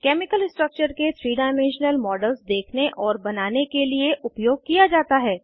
chemical structure के 3 dimensional models देखने और बनाने के लिए उपयोग किया जाता है